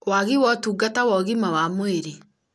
wagi wa ũtungata wa ũgima wa mwĩrĩ